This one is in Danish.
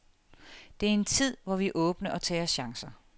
Det er en tid, hvor vi er åbne og tager chancer.